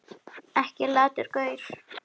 Ekki latur gaur!